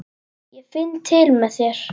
Ég finn til með þér.